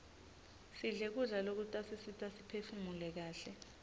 sidle kudla lokutasisita siphefunule kaihle